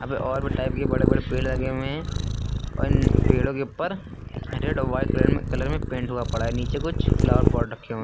यहां पे और भी टाइप के बड़े बड़े पेड़ लगें हुये है और इन पेड़ों के उपर रेड और व्हाइट कलर में कलर में पेंट हुआ पड़ा है। नीचे में कुछ फ्लावर पॉट रखें हुये --